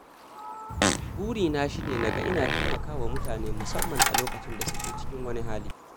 Burina shi ne na ga ina taimaka wa mutane, musamman a lokacin da suke cikin wani hali